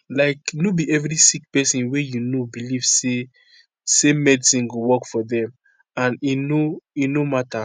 like no be every sick pesin wey you know belief say same medicine go work for dem and e no e no matter